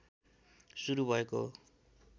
सुरु भएको हो